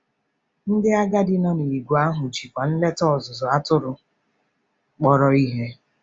Ndị agadi nọ n'ìgwè ahụ jikwa nleta ọzụzụ atụrụ kpọrọ ihe.